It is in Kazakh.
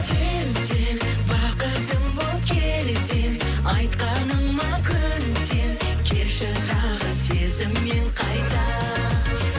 сен сен бақытым боп келсең айтқаныма көнсең келші тағы сезіммен қайта